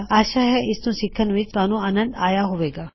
ਆਸ਼ਾ ਹੈ ਇਸਨੂੰ ਸਿਖਣ ਵਿੱਚ ਤੁਹਾਨੂੰ ਆਨੰਦ ਆਇਆ ਹੋਵੇਗਾ